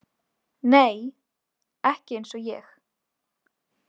Nei, ekki eins og ég.